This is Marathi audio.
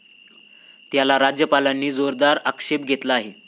त्याला राज्यपालांनी जोरदार आक्षेप घेतला आहे.